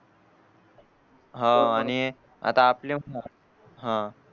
हा आणि आता आपले असणार